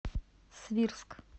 свирск